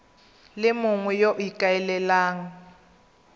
le mongwe yo o ikaelelang